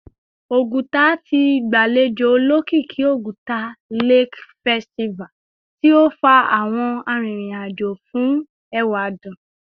Oguta ti gbalejo olokiki Oguta Lake Festival ti o fa awọn aririn ajo fun ewadun